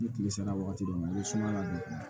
Ni kile sera wagati dɔ ma ni sumaya don